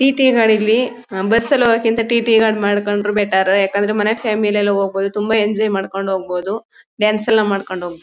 TT. ಗಾಡಿಲ್ಲಿ bus ಅಲ್ ಹೋಗೋಕಿಂತ ಟಿ.ಟಿ. ಗಳ್ ಮಾಡ್ಕೊಂಡ್ರೆ ಬೆಟರ್ . ಯಾಕಂದ್ರೆ ಮನೆ ಫ್ಯಾಮಿಲಿ ಎಲ್ಲ ಹೋಗಬೋದು ತುಂಬಾ ಎಂಜಾಯ್ ಮಾಡ್ಕೊಂಡ್ ಹೋಗಬೋದು. ಡಾನ್ಸ್ ಎಲ್ಲ ಮಾಡ್ಕೊಂಡ್ ಹೋಗ್ಬೋ--